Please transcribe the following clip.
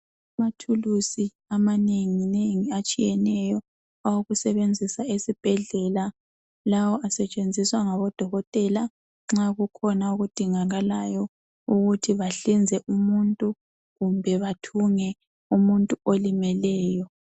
Amathulusi amanenginengi atshiyeneyo awokusebenzisa esibhedlela. Lawo asetshenziswa ngabodokotela nxa kukhona okudingakalayo ukuthi bahlinze umuntu kumbe bathunge umuntu olimeleyo.